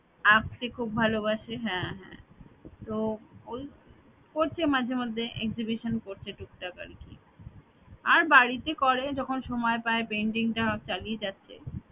আঁকতে খুব ভালোবাসে হ্যাঁ হ্যাঁ তো ওই করছে মাঝেমধ্যে exhibition করছে টুকটাক আরকি আর বাড়িতে করে যখন সময় পায় painting টা চালিয়ে যাচ্ছে